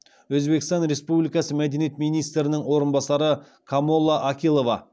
өзбекстан республикасы мәдениет министрінің орынбасары камола акилова